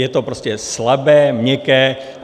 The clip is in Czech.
Je to prostě slabé, měkké.